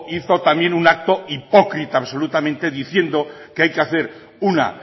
hizo también un acto hipócrita absolutamente diciendo que hay que hacer una